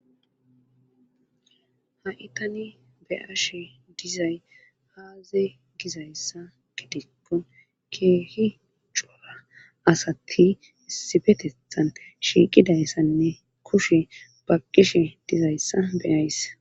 ha'i tani be'ashe dizay aaze gizayssa gidikko keehi cora asati isibetethan shiiqidayssanne kushe baqqishe dizayssa beyayisse